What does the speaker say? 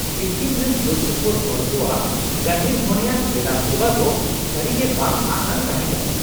ᱥᱤᱠᱤᱢ ᱨᱮᱱ ᱥᱩᱨᱼᱥᱩᱯᱩᱨ ᱦᱚᱲ ᱠᱚᱣᱟᱜ ᱜᱟᱹᱦᱤᱨᱼᱢᱚᱱᱮᱭᱟᱱ ᱯᱮᱲᱟᱼᱥᱮᱵᱟ ᱫᱚ ᱥᱟᱹᱨᱤᱜᱮ ᱵᱟᱝᱼᱟᱸᱥᱼᱟᱱ ᱛᱟᱦᱮᱸ ᱠᱟᱱᱟ ᱾